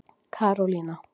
Karólína